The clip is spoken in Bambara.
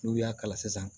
N'u y'a kala sisan